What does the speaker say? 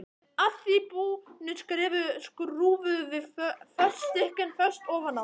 Að því búnu skrúfuðum við fótstykkin föst ofan á þá.